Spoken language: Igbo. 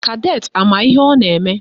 Kadetị ama ihe ọ na-eme?